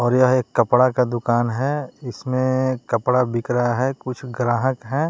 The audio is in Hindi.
और यह एक कपड़ा का दुकान है इसमें कपड़ा बिक रहा है कुछ ग्राहक हैं।